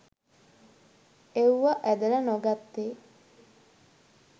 එව්ව ඇදල නොගත්තෙ